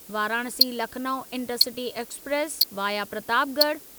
Varanasi Lucknow intercity express via Pratapgarh